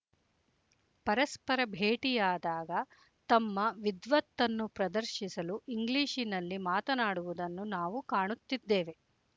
ಪರಸ್ಪರ ಭೇಟಿಯಾದಾಗ ತಮ್ಮ ವಿದ್ವತ್ತನ್ನು ಪ್ರದರ್ಶಿಸಲು ಇಂಗ್ಲೀಷಿನಲ್ಲಿ ಮಾತನಾಡುವುದನ್ನು ನಾವು ಕಾಣುತ್ತಿದ್ದೇವೆ